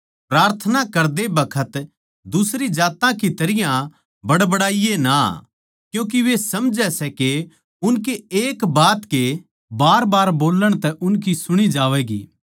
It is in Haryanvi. प्रार्थना करदे बखत दुसरी जात्तां की तरियां बडबडाइये ना क्यूँके वे समझै सै के उनकै एक बात के बारबार बोल्लण तै उनकी सुणी जावैगी